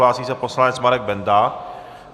Hlásí se poslanec Marek Benda.